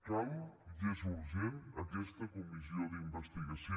cal i és urgent aquesta comissió d’investigació